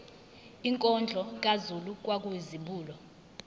inkondlo kazulu kwakuyizibulo